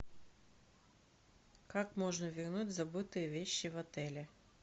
как можно вернуть забытые вещи в отеле